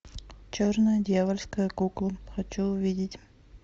черная дьявольская кукла хочу увидеть